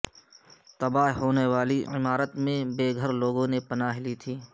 تباہ ہونے والی عمارت میں بے گھر لوگوں نے پناہ لی تھی